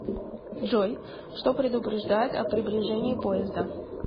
джой что предупреждает о приближении поезда